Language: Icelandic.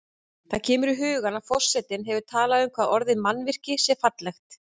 Það kemur í hugann að forseti hefur talað um hvað orðið mannvirki sé fallegt.